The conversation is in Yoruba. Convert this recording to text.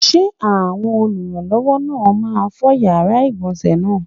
Ṣé àwọn olùrànlọ́wọ́ náà máa fọ yàrá ìgbọ̀nsé náà?